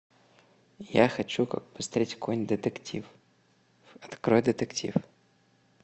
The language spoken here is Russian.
я хочу посмотреть какой нибудь детектив открой детектив